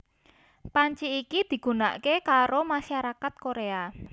Panci iki digunaké karo masyarakat Korea